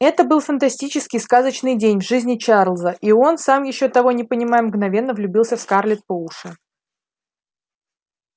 это был фантастический сказочный день в жизни чарлза и он сам ещё того не понимая мгновенно влюбился в скарлетт по уши